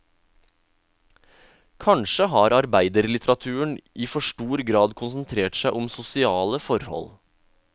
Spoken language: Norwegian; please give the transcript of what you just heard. Kanskje har arbeiderlitteraturen i for stor grad konsentrert seg om sosiale forhold.